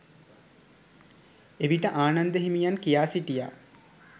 එවිට ආනන්ද හිමියන් කියා සිටියා